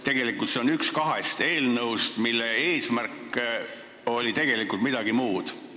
See on üks kahest eelnõust, mille eesmärk oli tegelikult midagi muud.